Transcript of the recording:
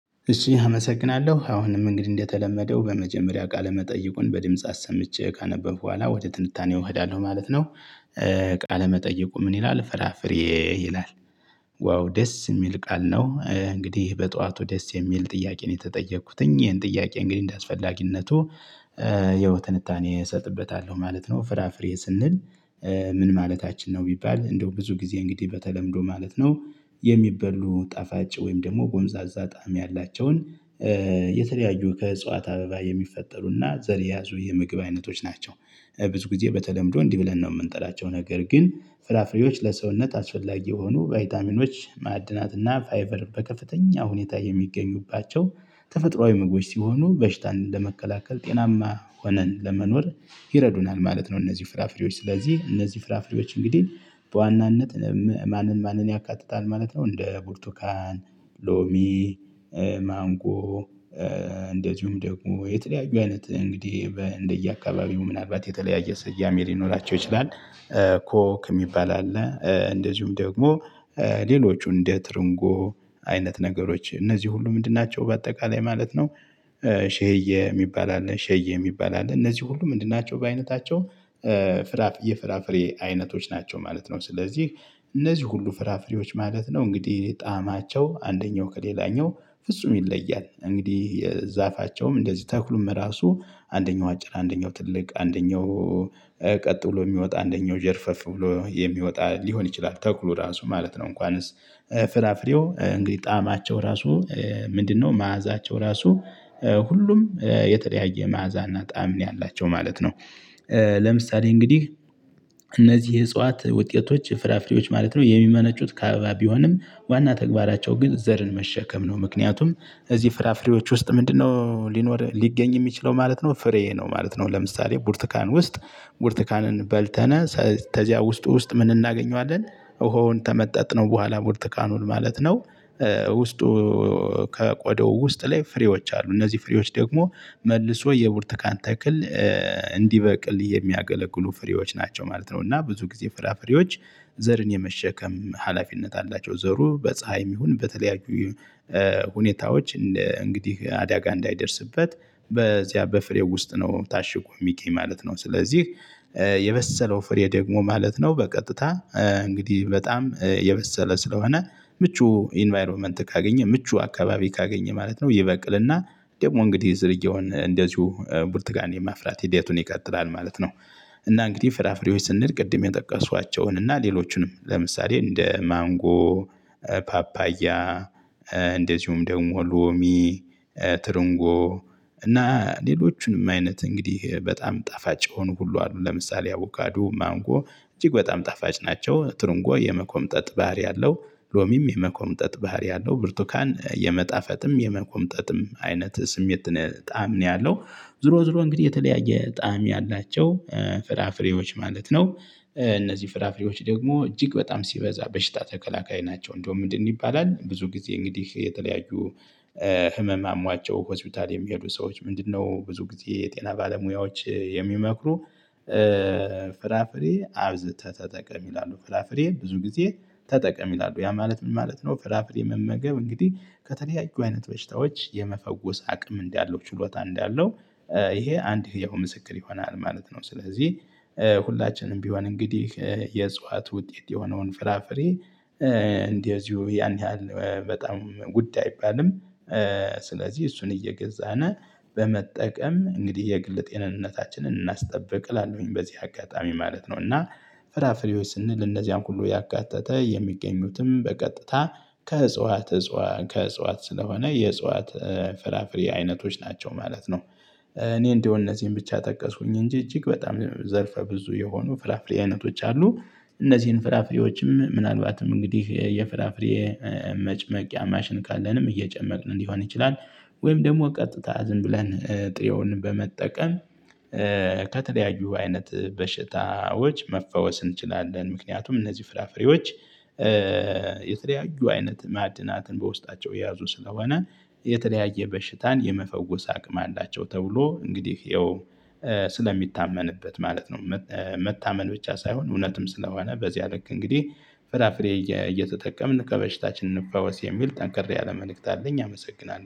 እሺ አመሰግናለሁ አሁንም እንግዲህ እንደተለመደው በመጀመሪያ ቃለ መጠይቁን በድምጽ አሰምቼ ካነበብኩ በኋላ ወደ ትንታኔ እሄዳለሁ ማለት ነው። ቃለ መጠየቁ ምን ይላል? ፍራፍሬ ይላል። ዋው ደስ የሚል ቃል ነው። እንግዲህ በጠዋቱ ደስ የሚል ጥያቄ ነው የተጠየኩት እኚህን ጥያቄ እንግዲህ እንደአስፈላጊነቱ የውትንታኔ እሰጥበታለሁ ማለት ነው። ፍራፍሬ ስንል ምን ማለታችን ነው? ቢባል እንደው ብዙ ጊዜ እንግዲህ በተለምዶ ማለት ነው የሚበሉ ጣፋጭ ወይም ደግሞ ጎምዛዛ ጣዕም ያላቸውን የተለያዩ ከእጽዋት አበባ የሚፈጠሩና ዘር የያዙ የምግብ አይነቶች ናቸው። ብዙ ጊዜ በተለምዶ እንዲህ ብለን ነው የምንጠላቸው ነገር ግን ፍራፍሬዎች ለሰውነት አስፈለጊ የሆኑ ቫይታሚኖች ማዕድናት እና ፋይቨር በከፍተኛ ሁኔታ የሚገኙባቸው ተፈጥሮአዊ ምግቦች ሲሆኑ በሽታን ለመከላከል ጤናማ ሆነን ለመኖር ይረዱናል ማለት ነው። እነዚህ ፍራፍሬዎች ስለዚህ እነዚህ ፍራፍሬዎች እንግዲህ በዋናነት ማንን ማንን ያካትታል ማለት ነው። እንደ ቡርቱካን፣ ሎሚ፣ ማንጎ እንደዚሁም ደግሞ የተለያዩ አይነት እንግዲህ እንደየአካባቢው ምናልባት የተለያየ ሰያሜ ሊኖራቸው ይችላል። ኮክ የሚባል አለ እንደዚሁም ደግሞ ሌሎቹ እንደ ትርንጎ አይነት ነገሮች እነዚህ ሁሉ ምንድን ናቸው በአጠቃላይ ማለት ነው። ሼየ የሚባል አለ ሼየ የሚባል አለ እነዚህ ሁሉ ምንድን ናቸው? በአይነታቸው ፍራፍ የፍራፍሬ አይነቶች ናቸው ማለት ነው። ስለዚህ እነዚህ ሁሉ ፍራፍሬዎች ማለት ነው እንግዲህ ጣዕማቸው አንደኛው ከሌላኛው ፍጹም ይለያል። እንግዲህ ዛፋቸውም እንደዚህ ተክሉም ራሱ አንደኛው አጭር አንደኛው ትልቅ አንደኛው ቀጥ ብሎ የሚወጣ አንደኛው ዠርፈፍ ብሎ የሚወጣ ሊሆን ይችላል። ተክሉ ራሱ ማለት ነው። እንኳንስ ፍራፍሬው እንግዲህ ጣዕማቸው ራሱ ምንድነው? መዓዛቸው ራሱ ሁሉም የተለያየ መዓዛና ጣዕም ነው ያላቸው ማለት ነው። ለምሳሌ እንግዲህ እነዚህ እጽዋት ውጤቶች ፍራፍሬዎች ማለት ነው የሚመነጩት ከአበባ ቢሆንም ዋና ተግባራቸው ግን ዘርን መሸከም ነው። ምክንያቱም እዚህ ፍራፍሬዎች ውስጥ ምንድነው? ሊኖር ሊገኝ የሚችለው ማለት ነው ፍሬ ነው ማለት ነው። ለምሳሌ ቡርትካን ውስጥ ቡርትካንን በልተነ ተዚያ ውስጥ ውስጥ ምን እናገኘዋለን? ውሃውን ተመጠጥነው በኋላ ቡርተካኑን ማለት ነው። ውስጡ ከቆዳው ውስጥ ላይ ፍሬዎች አሉ። እነዚህ ፍሬዎች ደግሞ መልሶ የቡርትካን ተክል እንዲበቅል የሚያገለግሉ ፍሬዎች ናቸው ማለት ነው። እና ብዙ ጊዜ ፍራፍሬዎች ዘርን የመሸከም ሀላፊነት አላቸው። ዘሩ በፀሀይም ይሁን በተለያዩ ሁኔታዎች እንደ እንግዲህ አዳጋ እንዳይደርስበት በዚያ በፍሬ ውስጥ ነው ታሽጎ የሚገኝ ማለት ነው። ስለዚህ የበሰለው ፍሬ ደግሞ ማለት ነው። በቀጥታ እንግዲህ በጣም የበሰለ ስለሆነ ምቹ ኢንቫይሮመንት ካገኘ ምቹ አካባቢ ካገኘ ማለት ነው። ይበቅልና ደግሞ እንግዲህ ዝርያውን እንደዚሁ ብርቱካን የማፍራት ሂደቱን ይቀጥላል ማለት ነው። እና እንግዲህ ፍራፍሬዎች ስንል ቅድም የጠቀሷቸውን እና ሌሎቹንም ለምሳሌ እንደ ማንጎ ፓፓያ እንደዚሁም ደግሞ ሎሚ እና ሌሎችንም አይነት እንግዲህ በጣም ጣፋጭ የሆኑ ሁሉ አሉ። ለምሳሌ አቡካዶ ማንጎ እጅግ በጣም ጣፋጭ ናቸው። ትርንጎ የመኮምጠጥ ባህሪ አለው። ሎሚም የመኮምጠጥ ባህሪ ያለው ብርቱካን የመጣፈጥም የመኮምጠጥም አይነት ስሜት ጣዕም ነው ያለው። ዝሮ ዝሮ እንግዲህ የተለያየ ጣዕም ያላቸው ፍራፍሬዎች ማለት ነው። እነዚህ ፍራፍሬዎች ደግሞ እጅግ በጣም ሲበዛ በሽታ ተከላካይ ናቸው። እንደውም ምንድን ይባላል? ብዙ ጊዜ እንግዲህ የተለያዩ ህመም አሟቸው ሆስፒታል የሚሄዱ ሰዎች ምንድነው? ብዙ ጊዜ የጤና ባለሙያዎች የሚመክሩ ፍራፍሬ አብዝተህ ተጠቀም ይላሉ። ፍራፍሬ ብዙ ጊዜ ተጠቀም ይላሉ። ያ ማለት ምን ማለት ነው? ፍራፍሬ መመገብ እንግዲህ ከተለያዩ አይነት በሽታዎች የመፈወስ አቅም እንዳለው ችሎታ እንዳለው ይሄ አንድ ህያው ምስክር ይሆናል ማለት ነው። ስለዚህ ሁላችንም ቢሆን እንግዲህ የእጽዋት ውጤት የሆነውን ፍራፍሬ እንደዚሁ ያን ያህል በጣም ጉዳይ አይባልም። ስለዚህ እሱን እየገዛነ በመጠቀም እንግዲህ የግል ጤንነታችንን እናስጠብቅ እላለሁኝ በዚህ አጋጣሚ ማለት ነው። እና ፍራፍሬዎች ስንል እነዚያን ሁሉ ያካተተ የሚገኙትም በቀጥታ ከእጽዋት እጽዋት ከእጽዋት ስለሆነ የእጽዋት ፍራፍሬ አይነቶች ናቸው ማለት ነው። እኔ እንደው እነዚህን ብቻ ጠቀስኩኝ እንጂ እጅግ በጣም ዘርፈ ብዙ የሆኑ ፍራፍሬ አይነቶች አሉ። እነዚህን ፍራፍሬዎችም ምናልባትም እንግዲህ የፍራፍሬ መጨመቂያ ማሽን ካለንም እየጨመቅን ሊሆን ይችላል። ወይም ደግሞ ቀጥታ ዝም ብለን ጥሬውን በመጠቀም ከተለያዩ አይነት በሽታዎች መፈወስ እንችላለን። ምክንያቱም እነዚህ ፍራፍሬዎች የተለያዩ አይነት ማዕድናትን በውስጣቸው የያዙ ስለሆነ የተለያየ በሽታን የመፈወስ አቅም አላቸው። ተብሎ እንግዲህ ይኸው ስለሚታመንበት ማለት ነው። መታመን ብቻ ሳይሆን እውነትም ስለሆነ በዚህ ልክ እንግዲህ ፍራፍሬ እየተጠቀምን ከበሽታችን እንፈወስ የሚል ጠንካራ ያለ መልእክት አለኝ። አመሰግናለሁ